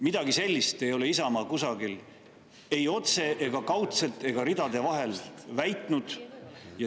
Midagi sellist ei ole Isamaa kusagil ei otse ega kaudselt ega ridade vahel väitnud.